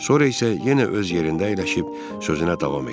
Sonra isə yenə öz yerində əyləşib sözünə davam etdi.